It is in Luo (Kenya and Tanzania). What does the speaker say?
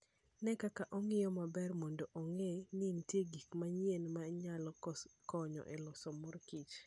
Ne kaka ong'iyo maber mondo ong'e ni nitie gik mang'eny ma nyalo konyo e loso mor kich.